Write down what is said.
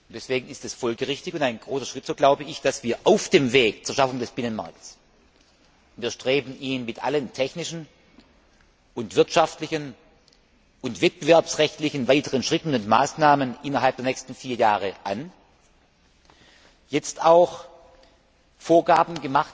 Deswegen ist es folgerichtig und ein großer Schritt, so glaube ich, dass auf dem Weg zur Schaffung des Binnenmarkts wir streben ihn mit allen technischen, wirtschaftlichen und wettbewerbsrechtlichen weiteren Schritten und Maßnahmen innerhalb der nächsten vier Jahre an jetzt auch Vorgaben